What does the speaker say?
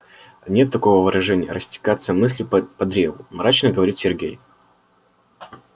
нет такого выражения растекаться мыслью по древу мрачно говорит сергей